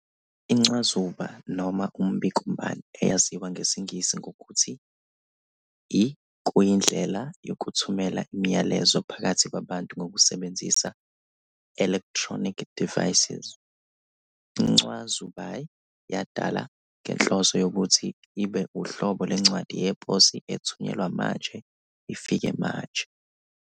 Incwazuba, noma Umbikombani, eyaziwa ngesiNgisi ngokuthi i-kuyindlela yokuthumelelana imilayezo phakathi kwabantu ngokusebenzisa, "electronic devices". Incwazubai yadalwa ngenhloso yokuthi ibe uhlobo lwencwadi yeposi ethunyelwa manje ifike manje.